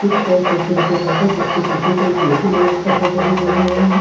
Chips और कुर-कुरे के packets जिसके पीछे एक मिक्की माउस का फोटो भी बना हुआ है।